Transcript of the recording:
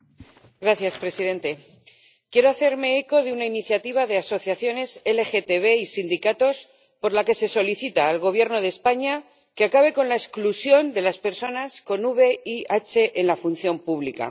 Señor presidente, quiero hacerme eco de una iniciativa de asociaciones LGTB y sindicatos por la que se solicita al Gobierno de España que acabe con la exclusión de las personas con VIH en la función pública.